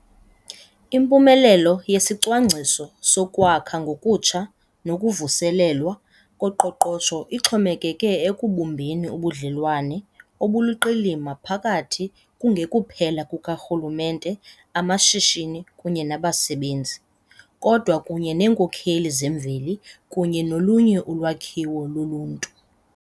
Impumelelo yesiCwangciso soKwakha ngoKutsha noKuvuselelwa koQoqosho ixhomekeke ekubumbeni ubudlelwane obuluqilima phakathi kungekuphela kukarhulumente, amashishini kunye nabasebenzi, kodwa kunye neenkokheli zemveli kunye nolunye ulwakhiwo loluntu.